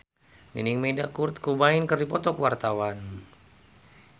Nining Meida jeung Kurt Cobain keur dipoto ku wartawan